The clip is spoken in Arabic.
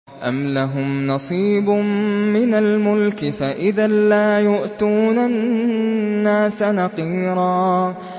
أَمْ لَهُمْ نَصِيبٌ مِّنَ الْمُلْكِ فَإِذًا لَّا يُؤْتُونَ النَّاسَ نَقِيرًا